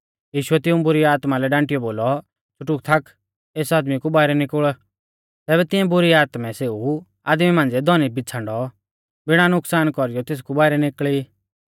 यीशुऐ तिऐं बुरी आत्मा लै डांटियौ बोलौ च़ुटुक थाक एस आदमी कु बाइरै निकुल़ तैबै तिंऐ बुरी आत्मै सेऊ आदमी मांझ़िऐ धौनी बिछ़ांडौ बिणा नुकसान कौरीयौ तेसकु बाइरै निकल़ी